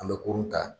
An bɛ kurun ta